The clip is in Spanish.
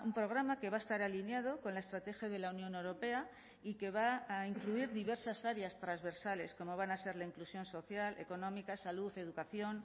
programa que va a estar alineado con la estrategia de la unión europea y que va a incluir diversas áreas transversales como van a ser la inclusión social económica salud educación